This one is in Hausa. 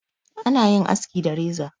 ana yin aski da reza